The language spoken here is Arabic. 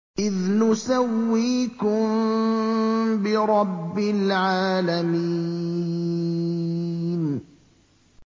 إِذْ نُسَوِّيكُم بِرَبِّ الْعَالَمِينَ